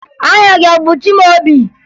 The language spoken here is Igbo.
Aha gị a bụ Chimaobi?